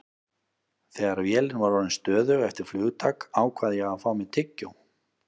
Þegar vélin var orðin stöðug eftir flugtak ákvað ég að fá mér tyggjó.